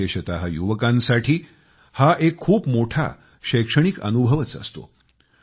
विशेषतः युवकांसाठी हा एक खूप मोठा शैक्षणिक अनुभवच असतो